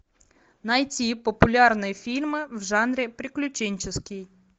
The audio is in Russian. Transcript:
найти популярные фильмы в жанре приключенческий